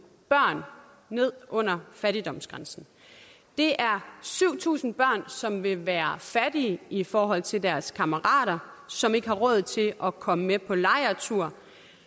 børn ned under fattigdomsgrænsen det er syv tusind børn som vil være fattige i forhold til deres kammerater som ikke har råd til at komme med på lejrtur